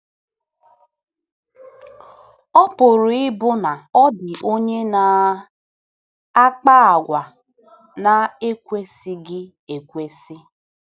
Ọ pụrụ ịbụ na ọ dị onye na - akpa àgwà na - ekwesịghị ekwesị.